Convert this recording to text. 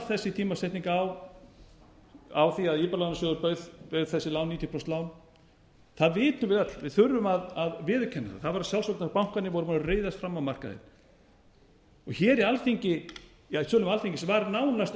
þessi tímasetning á því að íbúðalánasjóður bauð þessi níutíu prósent lán það vitum við öll við þurfum að viðurkenna það það var að sjálfsögðu vegna þess að bankarnir voru búnir að ryðjast fram á markaðinn hér í sölum alþingis var nánast